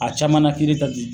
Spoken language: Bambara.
A caman kiiri